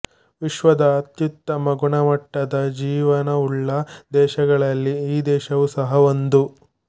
ವಿಶ್ವದ ಅತ್ಯುತ್ತಮ ಗುಣಮಟ್ಟದ ಜೀವನವುಳ್ಳ ದೇಶಗಳಲ್ಲಿ ಈ ದೇಶವೂ ಸಹ ಒಂದು